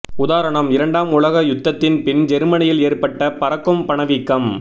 உதாரணம் இரண்டாம் உலக் யுத்ததின் பின் ஜெர்மனியில் ஏற்பட்ட பறக்கும் பணவீக்கம்